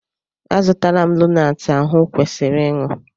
Azụtala m lonaatị ahụ o kwesịrị ịṅụ.